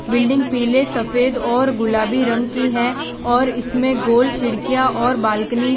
building पीले सफेद और गुलाबी रंग की है और इसमें गोल खिड़कियां और बालकनी --